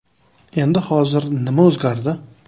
Endi hozir nima o‘zgardi?